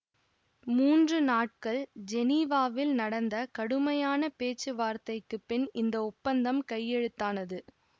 மூன்று நாட்கள் ஜெனிவாவில் நடந்த கடுமையான பேச்சுவார்த்தைக்குப் பின் இந்த ஒப்பந்தம் கையெழுத்தானது